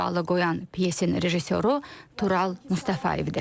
Sualı qoyan pyasin rejissoru Tural Mustafayevdir.